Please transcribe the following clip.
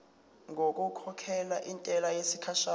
ngokukhokhela intela yesikhashana